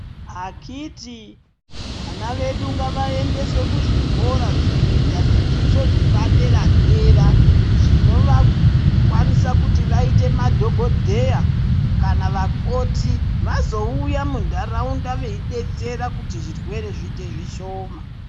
Akiti vana vedu ngavaendeswe kuzvikora kunoita zvidzidzo zvepadera dera zvinovakwanisa kuti vaite madhokodheya kana vakoti vazouya mundaraunda veibetsera kuti zvirwere zviite zvishoma.